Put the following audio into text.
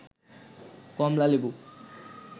কমলা লেবু